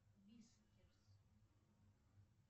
вискерс